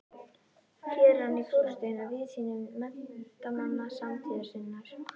Hér er hann í forustu hinna víðsýnustu menntamanna samtíðar sinnar.